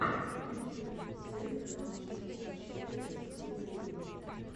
в ютюбе зельда лав шестьдесят четыре кристина гримми